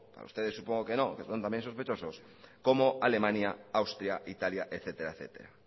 a ustedes supongo que no porque son también sospechosos como alemania austria italia etcétera etcétera